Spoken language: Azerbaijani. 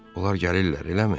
Onlar gəlirlər, eləmi?